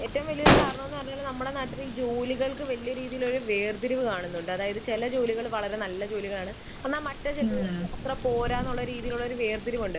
ഏറ്റവും വലിയ ഒരു കാരണം എന്നു പറഞ്ഞാൽ നമ്മുടെ നാട്ടിൽ ജോലികൾക്ക് വലിയൊരു രീതിയിലുള്ള വേർതിരിവ് കാണുന്നുണ്ട്. അതായത് ചില ജോലികൾ വളരെ നല്ല ജോലികൾ ആണ് എന്നാൽ മറ്റു ചിലത് അത്ര പോര എന്നുള്ള രീതിയിലുള്ള ഒരു വേർതിരിവ് ഉണ്ട്.